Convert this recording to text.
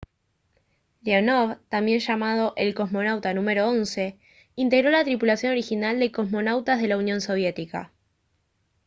leonov también llamado el «cosmonauta n.º 11» integró la tripulación original de cosmonautas de la unión soviética